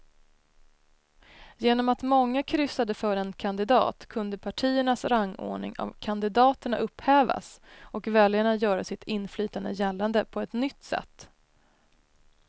Genom att många kryssade för en kandidat kunde partiernas rangordning av kandidaterna upphävas och väljarna göra sitt inflytande gällande på ett nytt sätt.